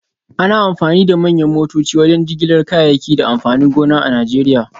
Ana amfani da manyan motoci wajen jigilar kayayyaki da amfanin gona a Najeriya